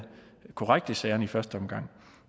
korrekt i sagerne i første omgang